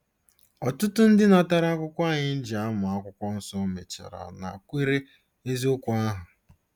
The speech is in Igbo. Ọtụtụ ndị natara akwụkwọ anyị e ji amụ Akwụkwọ Nsọ mechara nakwere eziokwu ahụ.